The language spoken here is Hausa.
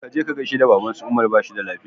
Ka je ka gaisar da baban su umar bashi da lafiya